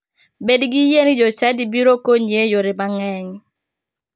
Bedi gi yie ni jochadi biro konyi e yore mang'eny.